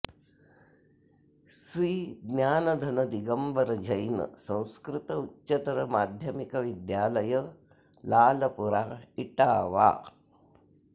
Shri Gyandhan Digambar Jain Sanskrit Uchchatar Madhyamik Vidyalaya Lalpura Etawah